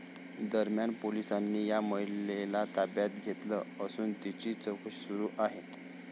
दरम्यान, पोलिसांनी या महिलेला ताब्यात घेतलं असून तिची चौकशी सुरू आहे.